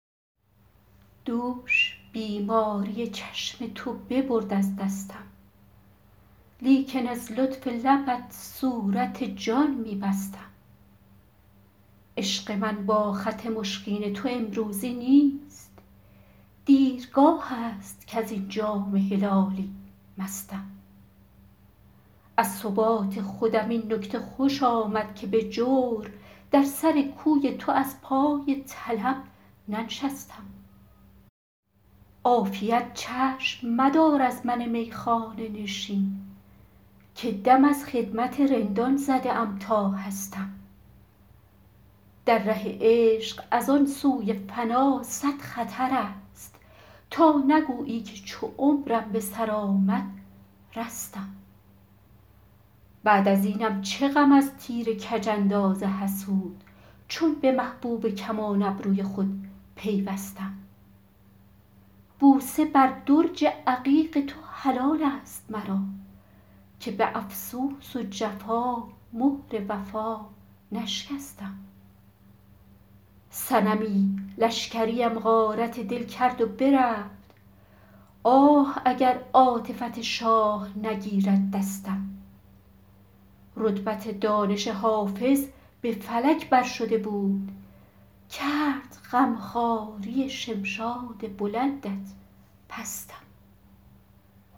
دوش بیماری چشم تو ببرد از دستم لیکن از لطف لبت صورت جان می بستم عشق من با خط مشکین تو امروزی نیست دیرگاه است کز این جام هلالی مستم از ثبات خودم این نکته خوش آمد که به جور در سر کوی تو از پای طلب ننشستم عافیت چشم مدار از من میخانه نشین که دم از خدمت رندان زده ام تا هستم در ره عشق از آن سوی فنا صد خطر است تا نگویی که چو عمرم به سر آمد رستم بعد از اینم چه غم از تیر کج انداز حسود چون به محبوب کمان ابروی خود پیوستم بوسه بر درج عقیق تو حلال است مرا که به افسوس و جفا مهر وفا نشکستم صنمی لشکریم غارت دل کرد و برفت آه اگر عاطفت شاه نگیرد دستم رتبت دانش حافظ به فلک بر شده بود کرد غم خواری شمشاد بلندت پستم